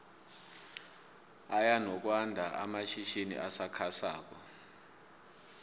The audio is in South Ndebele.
aya nokwando amatjhitjini asakha sako